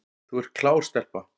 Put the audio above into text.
Þú ert klár stelpa